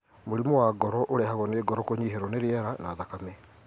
Mũrimũ wa ngoro ũrehagwo ni ngoro kũnyiherwo nĩ rĩera na thakame.